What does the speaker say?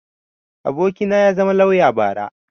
abokina ya zama lauya bara